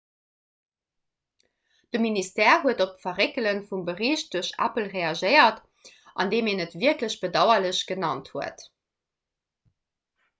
de ministère huet op d'verréckele vum bericht duerch apple reagéiert andeem en et wierklech bedauerlech genannt huet